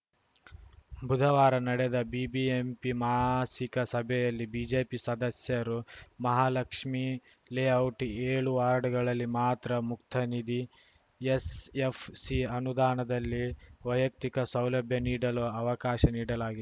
ಬುಧವಾರ ನಡೆದ ಬಿಬಿಎಂಪಿ ಮಾಸಿಕ ಸಭೆಯಲ್ಲಿ ಬಿಜೆಪಿ ಸದಸ್ಯರು ಮಹಾಲಕ್ಷ್ಮಿ ಲೇಔಟ್‌ ಏಳು ವಾರ್ಡ್‌ಗಳಿಗೆ ಮಾತ್ರ ಮುಕ್ತ ನಿಧಿ ಎಸ್‌ಎಫ್‌ಸಿ ಅನುದಾನದಲ್ಲಿ ವೈಯಕ್ತಿಕ ಸೌಲಭ್ಯ ನೀಡಲು ಅವಕಾಶ ನೀಡಲಾಗಿ